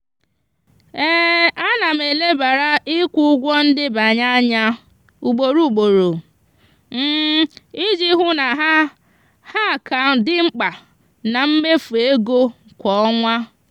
ana m elebara ikwu ụgwọ ndebanye anya ugboro ugboro iji hụ na ha ha ka dị mkpa na mmefu ego kwa ọnwa.